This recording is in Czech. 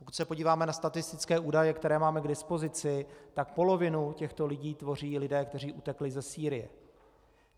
Pokud se podíváme na statistické údaje, které máme k dispozici, tak polovinu těchto lidí tvoří lidé, kteří utekli ze Sýrie.